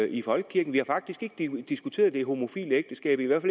i folkekirken vi har faktisk ikke diskuteret det homofile ægteskab i hvert